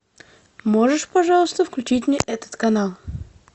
можешь пожалуйста включить мне этот канал